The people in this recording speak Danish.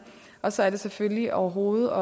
og så er det selvfølgelig overhovedet